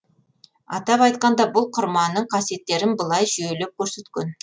атап айтқанда бұл құрманың қасиеттерін былай жүйелеп көрсеткен